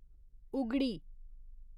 Ugadi